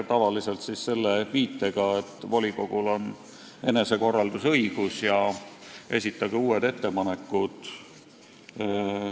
Tavaliselt on viidatud sellele, et volikogul on enesekorraldusõigus ja esitage uued ettepanekud.